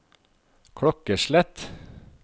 klokkeslett